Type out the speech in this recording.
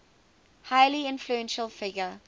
highly influential figure